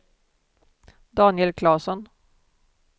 Daniel Claesson